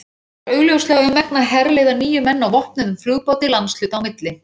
Honum var augljóslega um megn að herleiða níu menn á vopnuðum flugbáti landshluta á milli.